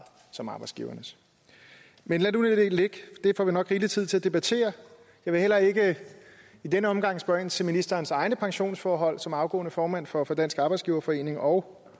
som arbejdsgivernes lad det nu ligge det får vi nok rigelig tid til at debattere jeg vil heller ikke i denne omgang spørge ind til ministerens egne pensionsforhold som afgående formand for for dansk arbejdsgiverforening og